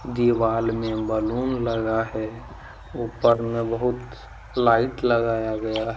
दीवाल में बैलून लगा है ऊपर में बहुत लाइट लगाया गया है।